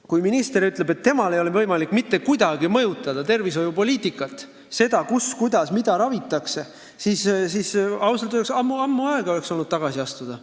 Kui minister ütleb, et temal ei ole võimalik mitte kuidagi mõjutada tervishoiupoliitikat, seda, kus, kuidas ja mida ravitakse, siis oleks ta ausalt öeldes võinud juba ammu tagasi astuda.